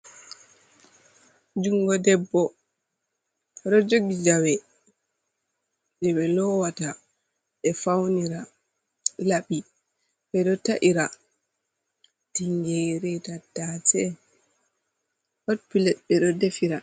Jungo ɗebbo. Oɗo jogi jawe je be lowata be faunira. Labbi beɗo ta’ira tingere, tattase. Hot pilet beɗo ɗefira.